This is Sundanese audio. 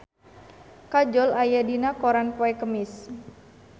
Kajol aya dina koran poe Kemis